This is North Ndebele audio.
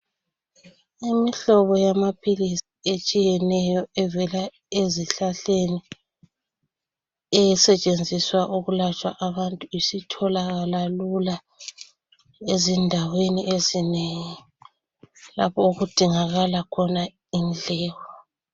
Imihlobo yamaphilisi etshiyeneyo evela ezihlahleni esetshenziswa ukulapha abantu isitholakala lula ezindaweni ezinengi lapho okudingakala khona indleko.